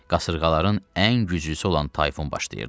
Qasırğaların ən güclüsü olan tayfun başlayırdı.